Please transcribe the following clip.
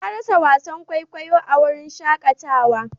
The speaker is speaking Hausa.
Ya rasa wasan kwaikwayo a wurin shakatawa.